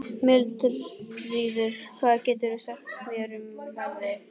Mildríður, hvað geturðu sagt mér um veðrið?